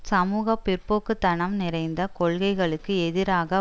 சமூக பிற்போக்கு தனம் நிறைந்த கொள்கைகளுக்கு எதிராக